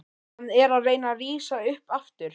Hann er að reyna að rísa upp aftur.